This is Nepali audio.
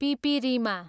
पिपिरिमा